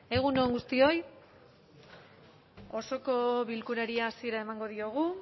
egun on guztioi osoko bilkurari hasiera emango diogu